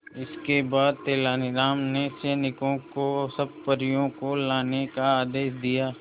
इसके बाद तेलानी राम ने सैनिकों को सब परियों को लाने का आदेश दिया